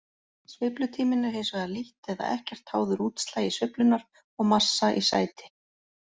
Sveiflutíminn er hins vegar lítt eða ekkert háður útslagi sveiflunnar og massa í sæti.